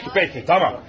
Pek, pek, tamam.